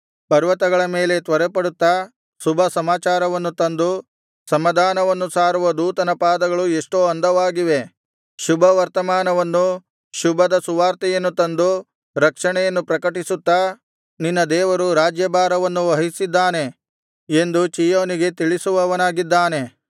ಪರ್ವತಗಳ ಮೇಲೆ ತ್ವರೆಪಡುತ್ತಾ ಶುಭಸಮಾಚಾರವನ್ನು ತಂದು ಸಮಾಧಾನವನ್ನು ಸಾರುವ ದೂತನ ಪಾದಗಳು ಎಷ್ಟೋ ಅಂದವಾಗಿವೆ ಶುಭವರ್ತಮಾನವನ್ನು ಶುಭದ ಸುವಾರ್ತೆಯನ್ನು ತಂದು ರಕ್ಷಣೆಯನ್ನು ಪ್ರಕಟಿಸುತ್ತಾ ನಿನ್ನ ದೇವರು ರಾಜ್ಯಭಾರವನ್ನು ವಹಿಸಿದ್ದಾನೆ ಎಂದು ಚೀಯೋನಿಗೆ ತಿಳಿಸುವವನಾಗಿದ್ದಾನೆ